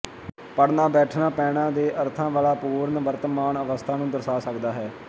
ਖੜ੍ਹਨਾ ਬੈਠਣਾ ਪੈਣਾ ਦੇ ਅਰਥਾਂ ਵਾਲਾ ਪੂਰਨ ਵਰਤਮਾਨ ਅਵਸਥਾ ਨੂੰ ਦਰਸਾ ਸਕਦਾ ਹੈ